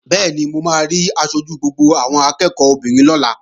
Bẹ́ẹ̀ni, mo máa rí aṣojú gbogbo àwọn akẹ́ẹ̀kọ́ obìnrin lọ́la